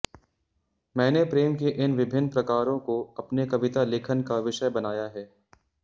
मैंने प्रेम के इन विभिन्न प्रकारों को अपने कविता लेखन का विषय बनाया है